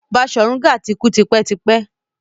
Baṣorun Gaa ti kú tipẹ́ tipẹ́.